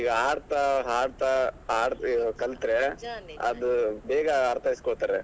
ಈಗ ಆಡ್ತಾ ಹಾಡ್ತಾ ಕಲ್ತರೆ ಅದ್ ಬೇಗ ಅರ್ಥೈಸ್ಕೊಳ್ತಾರೆ.